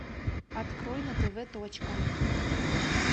открой на тв точка